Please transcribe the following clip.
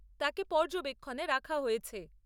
তাকে পর্যবেক্ষণে রাখা হয়েছে।